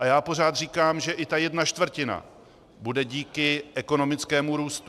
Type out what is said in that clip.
A já pořád říkám, že i ta jedna čtvrtina bude díky ekonomickému růstu.